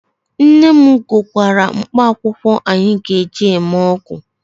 Nne m gwọkọrọ mkpaakwụkwọ anyị ga-eji mee ọgwụ